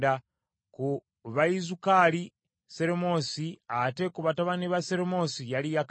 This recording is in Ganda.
Ku Bayizukaali Seromosi, ate ku batabani ba Seromosi yali Yakasi.